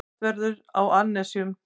Hvassast verður á annesjum